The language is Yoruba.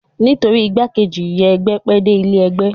Nítorí igbákejì ìyá ẹgbẹ́ pẹ́ dé ilé ẹgbẹ́